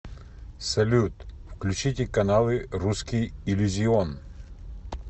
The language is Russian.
салют включите каналы русский иллюзион